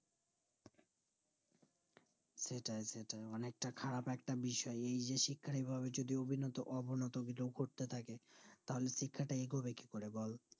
সেটাই সেটাই অনিকতা খারাপ একটা বিষয় এই যে শিক্ষার এই ভাবে অভিনতোঅবনত করতে থাকে তাহলে শিক্ষাটা এগোবে কি করে বল